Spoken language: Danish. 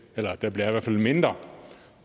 der bliver i hvert fald mindre